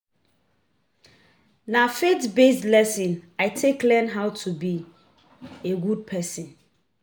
Na faith-based lessons I take learn how to be a good pesin.